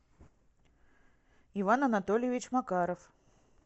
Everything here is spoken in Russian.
иван анатольевич макаров